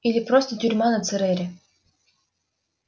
или просто тюрьма на церере